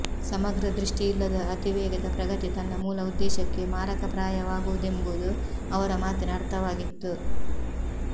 ಸಮಗ್ರ ದೃಷ್ಟಿಯಿಲ್ಲದ ಅತಿ ವೇಗದ ಪ್ರಗತಿ ತನ್ನ ಮೂಲ ಉದ್ದೇಶಕ್ಕೆ ಮಾರಕಪ್ರಾಯವಾಗುವುದೆಂಬುದು ಅವರ ಮಾತಿನ ಅರ್ಥವಾಗಿತ್ತು